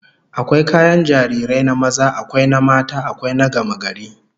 Akwai kayan jarirai na maza, akwai na mata, akwai na gamagari